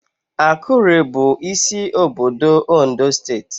Akure bụ isi obodo Ondo steeti